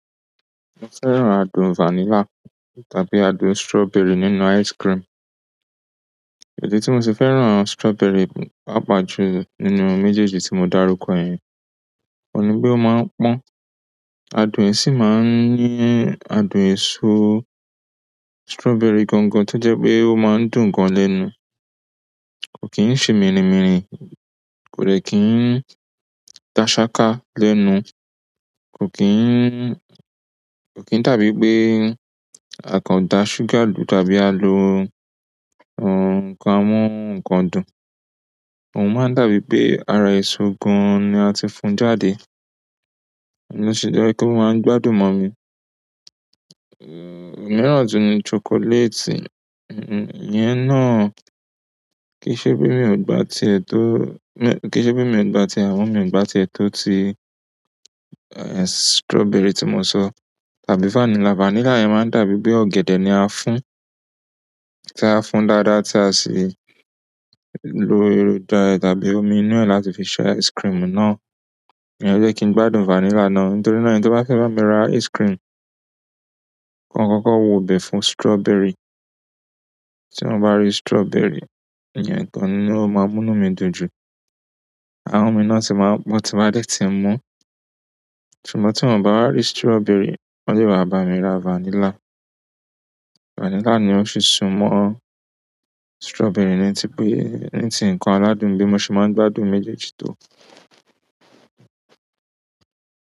Mo fẹ́ràn adùn vanilla tàbí adùn strawberry nínú ice cream. Idi tí mo ṣe fẹ́ràn strawberry papa jù nínú méjèèjì tí mo dárúkọ yẹn, òun ni pé ó máa ń pọ́n. Adùn ẹ sì máa ń ní adùn èso strawberry gangan tí ó jẹ́ pé ó máa ń dùn gan lẹ́nu. Ko kin ṣe minimini, ko dẹ kin daṣaka lẹ́nu. Ko kin ko kin dabipe a kan da sugar lu tàbí a lo nkan amu nkan dùn. Òun máa ń dàbí pé ara èso gan-an ni a ti fún jáde, ó lo ṣe jẹ́ pe o máa ń gbádùn mọ́ mi. Òmíràn tun ni chocolate. Iyẹn na kii ṣe pe mio gba tiẹ to oo, kii ṣe pe mio gba tiẹ amọ mio gba tiẹ to ti strawberry ti mo sọ. Àbí vanilla vanilla yẹn máa ń dàbí pé ọ̀gẹ̀dẹ̀ ni a fún, tí a fún dáadáa tí a sì lo erùn da ẹ tàbí omi inú ẹ̀ láti fi ṣe ice cream náà. Ìyẹn jẹ́ kí n gbádùn vanilla náà. Nítorí náà, ẹni toba fẹ bami ra icecream, ko kọkọ wobẹ fún strawberry tí wọ́n bá rí strawberry, ìyẹn gan ni ó máa múnú mi dùn jù. Ahan mi náà sì máa ń pọn tin bá dẹ̀ tí ń mú. Ṣùgbọ́n tí wọ́n bá wa rí strawberry, wọ́n le wa bá mi ra vanilla. Vanilla ni ó fi súnmọ́ strawberry ní ti pé, ní ti nkan aládùn bí mo ṣe máa ń gbádùn méjèèjì tó.